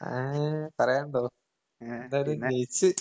ആഹ് പറയാണ്ടോ? എന്തായാലും ജയിച്ച്.